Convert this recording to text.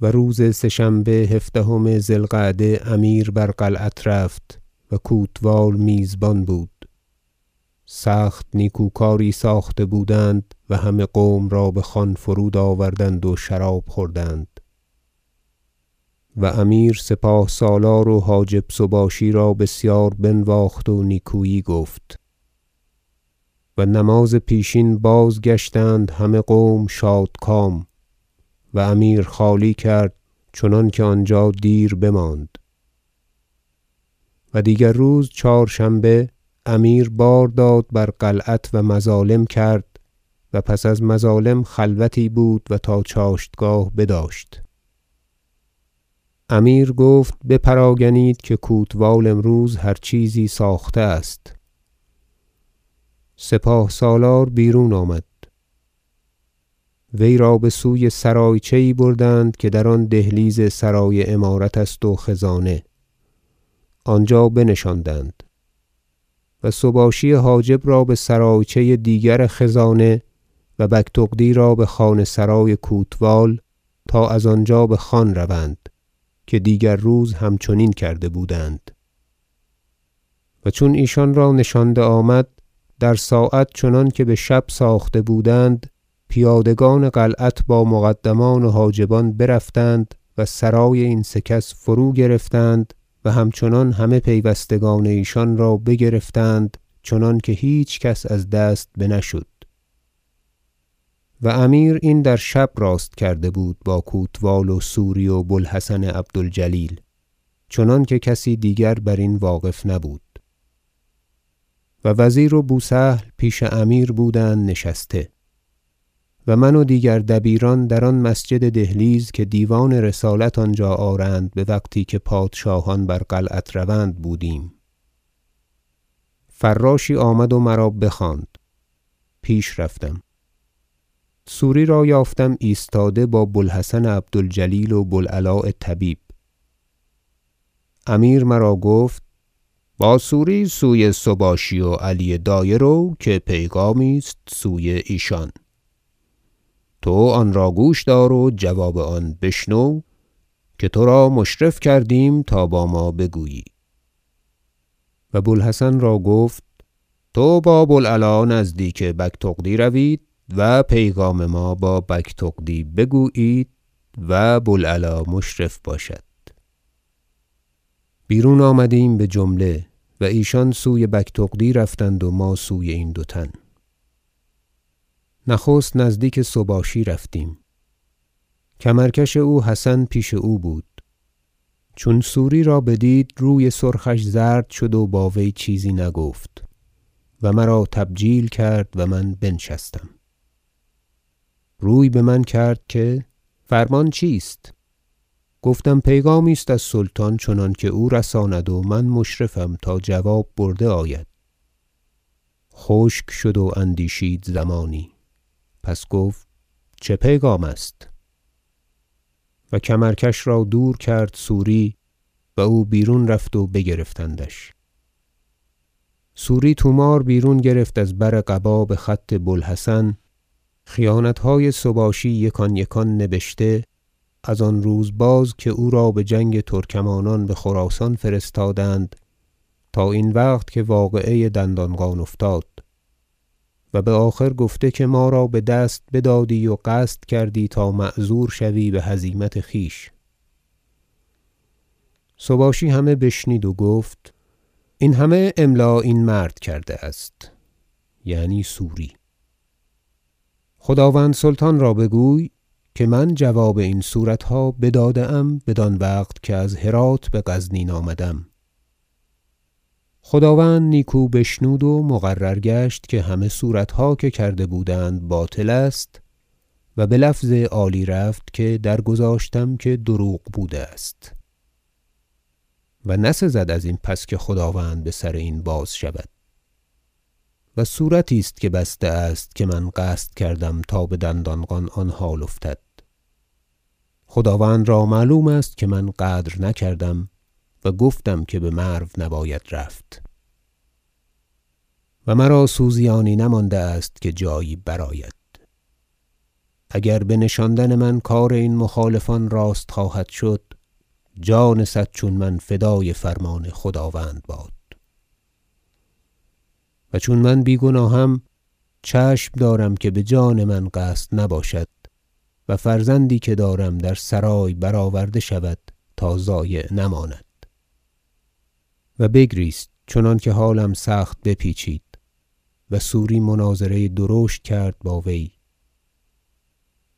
و روز سه شنبه هفدهم ذی القعده امیر بر قلعت رفت و کوتوال میزبان بود سخت نیکوکاری ساخته بودند و همه قوم را بخوان فرود آوردند و شراب خوردند و امیر سپاه سالار و حاجب سباشی را بسیار بنواخت و نیکویی گفت و نماز پیشین بازگشتند همه قوم شادکام و امیر خالی کرد چنانکه آنجا دیر بماند و دیگر روز چهارشنبه امیر بار داد بر قلعت و مظالم کرد و پس از مظالم خلوتی بود و تا چاشتگاه بداشت امیر گفت بپراگنید که کوتوال امروز هر چیزی ساخته است سپاه سالار بیرون آمد وی را بسوی سرایچه یی بردند که در آن دهلیز سرای امارت است و خزانه آنجا بنشاندند و سباشی حاجب را بسرایچه دیگر خزانه و بگتغدی را بخانه- سرای کوتوال تا از آنجا بخوان روند که دیگر روز همچنین کرده بودند و چون ایشان را نشانده آمد در ساعت چنانکه بشب ساخته بودند پیادگان قلعت با مقدمان و حاجبان برفتند و سرای این سه کس فروگرفتند و همچنان همه پیوستگان ایشان را بگرفتند چنانکه هیچ کس از دست بنه شد و امیر این در شب راست کرده بود با کوتوال و سوری و بو الحسن عبد الجلیل چنانکه کسی دیگر برین واقف نبود و وزیر و بو سهل پیش امیر بودند نشسته و من و دیگر دبیران در آن مسجد دهلیز که دیوان رسالت آنجا آرند بوقتی که پادشاهان بر قلعت روند بودیم فراشی آمد و مرا بخواند پیش رفتم سوری را یافتم ایستاده با بو الحسن عبد الجلیل و بو العلاء طبیب امیر مرا گفت با سوری سوی سباشی و علی دایه رو که پیغامی است سوی ایشان تو آنرا گوش دار و جواب آنرا بشنو که ترا مشرف کردیم تا با ما بگویی و بو الحسن را گفت تو با بو العلاء نزدیک بگتغدی روید و پیغام ما با بگتغدی بگویید و بو العلاء مشرف باشد بیرون آمدیم بجمله و ایشان سوی بگتغدی رفتند و ما سوی این دو تن نخست نزدیک سباشی رفتیم کمرکش او حسن پیش او بود چون سوری را بدید روی سرخش زرد شد و با وی چیزی نگفت و مرا تبجیل کرد و من بنشستم روی بمن کرد که فرمان چیست گفتم پیغامی است از سلطان چنانکه او رساند و من مشرفم تا جواب برده آید خشک شد و اندیشید زمانی پس گفت چه پیغام است و کمرکش را دور کرد سوری و او بیرون رفت و بگرفتندش سوری طوماری بیرون گرفت از بر قبا بخط بو الحسن خیانتهای سباشی یکان یکان نبشته از آن روز باز که او را بجنگ ترکمانان بخراسان فرستادند تا این وقت که واقعه دندانقان افتاد و بآخر گفته که ما را بدست بدادی و قصد کردی تا معذور شوی بهزیمت خویش سباشی همه بشنید و گفت این همه املا این مرد کرده است- یعنی سوری- خداوند سلطان را بگوی که من جواب این صورتها بداده ام بدان وقت که از هرات بغزنین آمده ام خداوند نیکو بشنود و مقرر گشت که همه صورتها که کرده بودند باطل است و بلفظ عالی رفت که در گذاشتم که دروغ بوده است و نسزد ازین پس که خداوند بسر این باز شود و صورتی که بسته است که من قصد کردم تا بدندانقان آن حال افتد خداوند را معلوم است که من غدر نکردم و گفتم که بمرو نباید رفت و مرا سوزیانی نمانده است که جایی برآید اگر بنشاندن من کار این مخالفان راست خواهد شد جان صد چون من فدای فرمان خداوند باد و چون من بیگناهم چشم دارم که بجان من قصد نباشد و فرزندی که دارم در سرای برآورده شود تا ضایع نماند و بگریست چنانکه حالم سخت بپیچید و سوری مناظره درشت کرد با وی